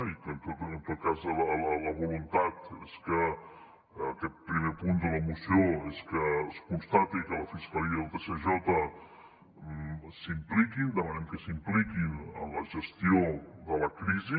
i en tot cas la voluntat és que aquest primer punt de la moció constati que la fiscalia i el tsj s’hi impliquin demanem que s’impliquin en la gestió de la crisi